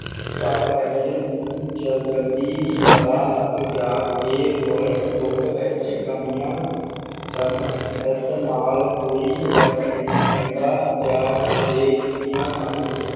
ਪਰ ਵੇਲਜ਼ ਨੂੰ ਜਲਦੀ ਹੀ ਪਤਾ ਲਗ ਗਿਆ ਕੇ ਵਲਡ ਬੁੱਕ ਵਿਚ ਕਮੀਆਂ ਸਨ ਇਸ ਨਾਲ ਹੀ ਕੋਈ ਫਰਕ ਨਹੀਂ ਪੈਂਦਾ ਜਾ ਕਦੇ ਕੀਨੀਆ ਸਨ